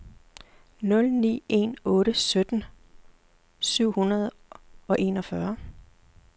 nul ni en otte sytten syv hundrede og enogfyrre